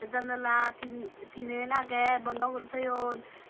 janala tin tinen agey bondo guri toyon.